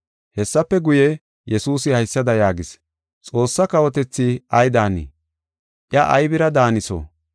Hessafe guye, Yesuusi haysada yaagis, “Xoossa kawotethi ay daanii? Iya aybira daaniso?